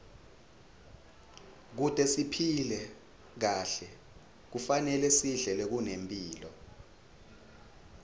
kute siphile kahle kufanele sidle lokunemphilo